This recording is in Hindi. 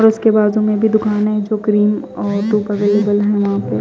और उसके बाजु मेभी दुकान है जो क्रीम और वहा पे--